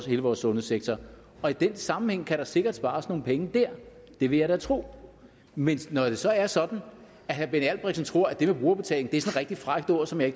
hele vores sundhedssektor og i den sammenhæng kan der sikkert spares nogle penge der det vil jeg da tro men når det så er sådan at herre benny albrechtsen tror at brugerbetaling et rigtig frækt ord som jeg